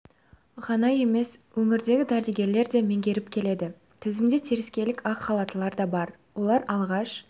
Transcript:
ғана емес өңірдегі дәрігерлер де меңгеріп келеді тізімде теріскейлік ақ халаттылар да бар олар алғаш